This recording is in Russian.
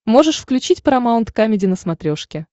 можешь включить парамаунт камеди на смотрешке